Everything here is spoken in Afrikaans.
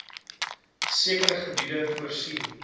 sekere gebiede voorsien